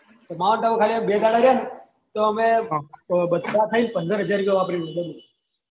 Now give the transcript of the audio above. Mount Abu ખાલી આ બે દહાડા ગયા ને ત અમે બધા થયી ને પંદર હજાર રુપયા વાપરી લીયી બોલું